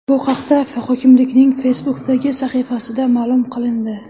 Bu haqda hokimlikning Facebook’dagi sahifasida ma’lum qilindi .